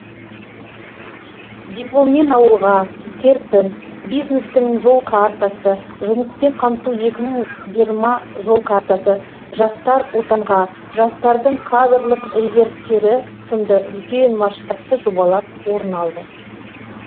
дипломмен ауылға серпін бизнестің жол картасы жұмыспен қамту екі мың жиырма жол картасы жастар отанға жастардың кадрлық резервтері сынды үлкен масштабты жобалар орын алды